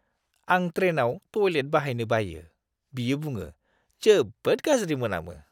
"आं ट्रेनआव टयलेट बाहायनो बायो", बियो बुङो, "जोबोद गाज्रि मोनामो!"